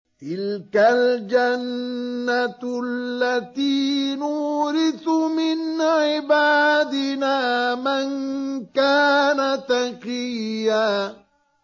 تِلْكَ الْجَنَّةُ الَّتِي نُورِثُ مِنْ عِبَادِنَا مَن كَانَ تَقِيًّا